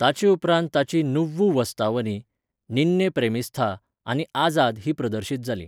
ताचे उपरांत ताचीं नुव्वु वास्तवनी, निन्ने प्रेमिस्थ, आनी आझाद हीं प्रदर्शित जालीं.